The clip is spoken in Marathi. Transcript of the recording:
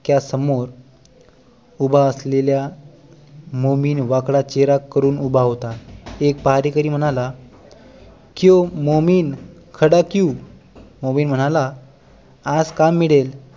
नाक्या समोर उभा असलेला मोमीन वाकडा चेहरा करून उभा होता एक पहारेकरी म्हणाला क्युँ मोमीन खडा क्युँ मोमीन म्हणाला आज काम मिळेल